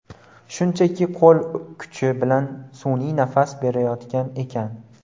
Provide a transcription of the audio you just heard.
Shunchaki qo‘l kuchi bilan sun’iy nafas berishayotgan ekan.